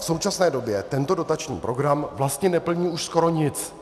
V současné době tento dotační program vlastně neplní už skoro nic.